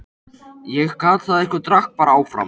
Ég gat það ekki og drakk bara áfram.